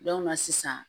sisan